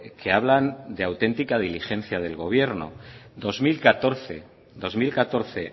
que hablan de auténtica diligencia del gobierno dos mil catorce dos mil catorce